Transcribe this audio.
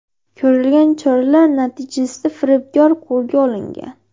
Ko‘rilgan choralar natijasida firibgar qo‘lga olingan.